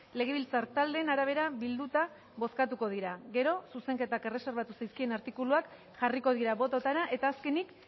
legebiltzar taldeen arabera bilduta bozkatuko dira gero zuzenketak erreserbatu zaizkien artikuluak jarriko dira bototara eta azkenik